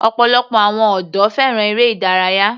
Ọ̀pọ̀lọpọ̀ àwọn ọ̀dọ́ fẹ́ràn eré ìdárayá.